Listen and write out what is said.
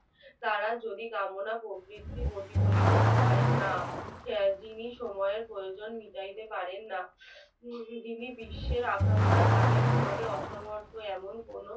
তারা যদি কামনা, প্রবৃত্তি প্রতিফলিত হয় না সেদিনই প্রয়োজনের সময় মিটাতে পারেনা যিনি বিশ্বের আকাঙ্ক্ষা দাবি পূরণের অসমর্থ এমন কোন